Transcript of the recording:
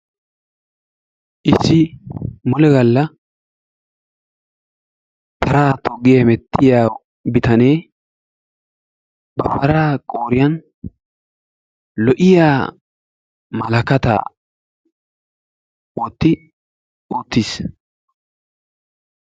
Issi mule gaalla paraa toggi hemettiyaa bitanee ba paraa qooriyan lo"iyaa malakkaataa wotti uttiis.